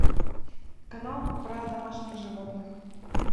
канал про домашних животных